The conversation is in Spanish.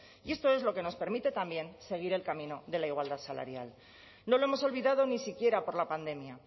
y esto es lo que nos permite también seguir el camino de la igualdad salarial no lo hemos olvidado ni siquiera por la pandemia